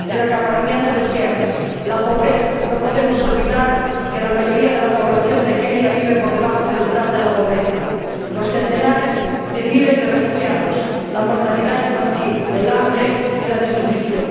el acaparamiento de tierras, la pobreza ―no podemos olvidar que la mayoría de la población de Kenia vive por debajo del umbral de la pobreza―, los centenares de miles de refugiados, la mortalidad infantil, el hambre y la desnutrición.